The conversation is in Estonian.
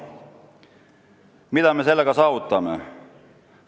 Mida me sellega saavutame?